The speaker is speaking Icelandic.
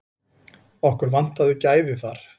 Okkur vantaði gæði þar.